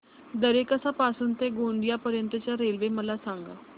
दरेकसा पासून ते गोंदिया पर्यंत च्या रेल्वे मला सांगा